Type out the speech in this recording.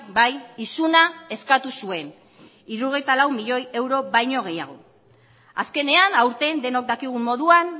bai isuna eskatu zuen hirurogeita lau milioi euro baino gehiago azkenean aurten denok dakigun moduan